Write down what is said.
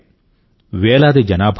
వేలాది జనాభా ఉంది